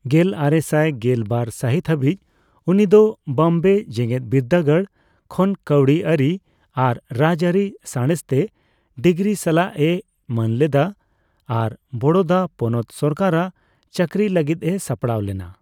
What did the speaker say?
ᱜᱮᱞᱟᱨᱮᱥᱟᱭ ᱜᱮᱞ ᱵᱟᱨ ᱥᱟᱦᱤᱛ ᱦᱟᱹᱵᱤᱡ ᱩᱱᱤᱫᱚ ᱵᱚᱢᱵᱮ ᱡᱮᱜᱮᱫᱵᱤᱨᱫᱟᱹᱜᱟᱲ ᱠᱷᱚᱱ ᱠᱟᱹᱣᱰᱤ ᱟᱹᱨᱤ ᱟᱨ ᱨᱟᱡᱟᱹᱨᱤ ᱥᱟᱸᱬᱮᱥ ᱛᱮ ᱰᱤᱜᱽᱨᱤ ᱥᱟᱞᱟᱜ ᱮ ᱢᱟᱹᱱ ᱞᱮᱫᱟ ᱟᱨ ᱵᱚᱲᱚᱫᱟ ᱯᱚᱱᱯᱛ ᱥᱚᱨᱠᱟᱨ ᱨᱟᱜ ᱪᱟᱹᱠᱨᱤ ᱞᱟᱹᱜᱤᱫ ᱮ ᱥᱟᱯᱲᱟᱣ ᱞᱮᱱᱟ᱾